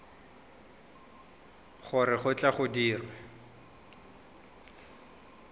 gore go tle go dirwe